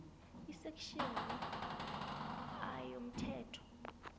isektjheni a yomthetho